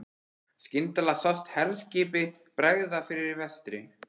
Skyndilega sást herskipi bregða fyrir í vestri.